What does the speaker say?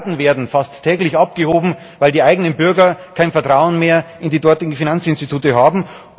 Milliarden werden fast täglich abgehoben, weil die eigenen Bürger kein Vertrauen mehr in die dortigen Finanzinstitute haben.